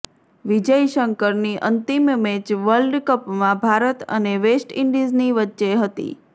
વિજય શંકરની અંતિમ match world કપમાં ભારત અને વેસ્ટ ઈન્ડિઝની વચ્ચે હતી